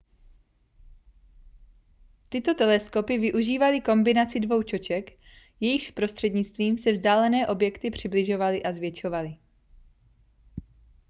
tyto teleskopy využívaly kombinaci dvou čoček jejichž prostřednictvím se vzdálené objekty přibližovaly a zvětšovaly